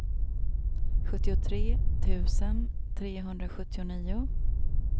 sjuttiotre tusen trehundrasjuttionio